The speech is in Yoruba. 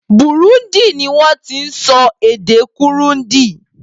Burundi ni wọ́n ti ń sọ èdè Kurundi.